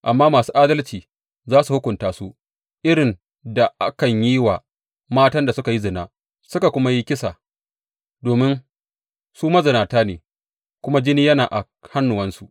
Amma masu adalci za su hukunta su irin da akan yi wa matan da suka yi zina suka kuma yi kisa, domin su mazinata ne kuma jini yana a hannuwansu.